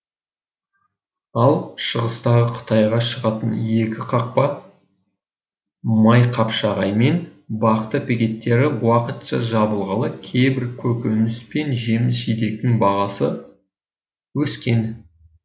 ал шығыстағы қытайға шығатын екі қақпа майқапшағай мен бақты бекеттері уақытша жабылғалы кейбір көкөніс пен жеміс жидектің бағасы өскен